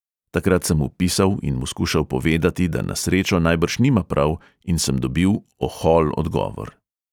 Takrat sem mu pisal in mu skušal povedati, da na srečo najbrž nima prav, in sem dobil ohol odgovor.